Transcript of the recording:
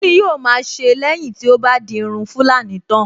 Kíni yóò ma a ṣe lẹ́yìn tí ó bá di irun tulani tán?